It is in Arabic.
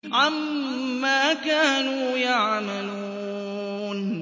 عَمَّا كَانُوا يَعْمَلُونَ